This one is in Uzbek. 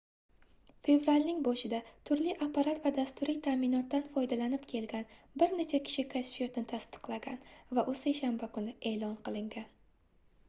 fevralning boshida turli apparat va dasturiy taʼminotdan foydalanib kelgan bir necha kishi kashfiyotni tasdiqlagan va u seshanba kuni eʼlon qilingan